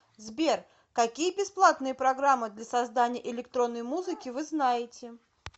сбер какие бесплатные программы для создания электронной музыки вы знаете